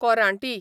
कोरांटी